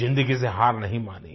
जिन्दगी से हार नहीं मानी